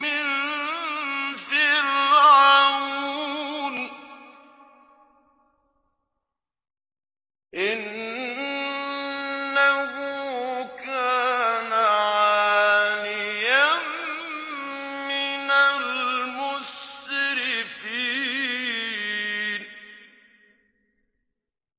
مِن فِرْعَوْنَ ۚ إِنَّهُ كَانَ عَالِيًا مِّنَ الْمُسْرِفِينَ